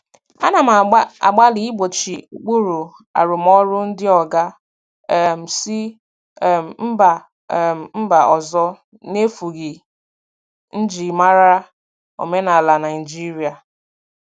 Ana m agbalị igbochi ụkpụrụ arụmọrụ ndị oga um si um mba um mba ọzọ n'efughị njirimara omenala Naịjirịa.